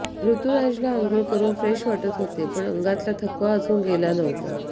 ऋतुराजला आंघोळ करून फ्रेश वाटत होतं पण अंगातला थकवा अजून गेला नव्हता